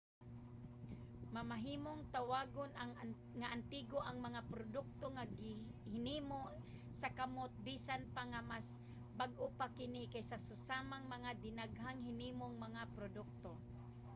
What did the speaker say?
mamahimong tawagon nga antigo ang mga produkto nga hinimo sa kamot bisan pa nga mas bag-o pa kini kaysa sa susamang mga dinaghang-hinimong mga produkto